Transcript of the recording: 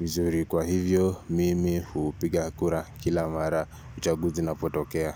mzuri kwa hivyo mimi hupiga kura kila mara uchaguzi una potokea.